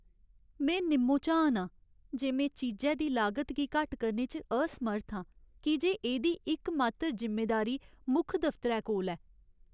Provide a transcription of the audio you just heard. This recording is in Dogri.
में निम्मो झान आं जे में चीजै दी लागत गी घट्ट करने च असमर्थ आं की जे एह्दी इकमात्तर जिम्मेदारी मुक्ख दफतरै कोल ऐ।